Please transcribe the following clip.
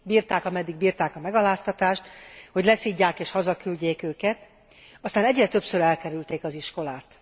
Bírták, ameddig bírták a megaláztatást, hogy leszidják és hazaküldjék őket, aztán egyre többször elkerülték az iskolát.